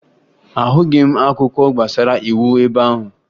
Ahụghị m akwụkwọ gbasara iwu ebe ahụ